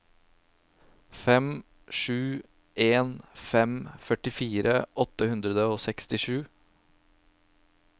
fem sju en fem førtifire åtte hundre og sekstisju